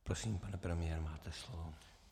Prosím, pane premiére, máte slovo.